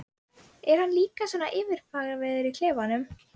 Er hann líka svona yfirvegaður í klefanum?